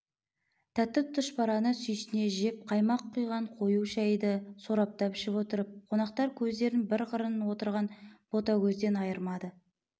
тәтті түшпәрәні сүйсіне жеп қаймақ құйған қою шайды сораптап ішіп отырып қонақтар көздерін бір қырын отырған ботагөзден айырмады